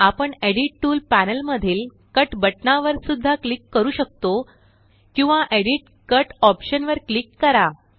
आपण edit tool panel मधील cut बटनवर सुद्धा क्लिक करू शकतो किंवा एडिट जीटीजीटी कट ऑप्शनवर क्लिक करा